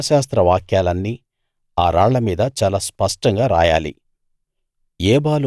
ఈ ధర్మశాస్త్ర వాక్యాలన్నీ ఆ రాళ్ల మీద చాలా స్పష్టంగా రాయాలి